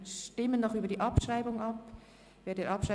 Wir stimmen noch über die Abschreibung der Ziffer 3 ab.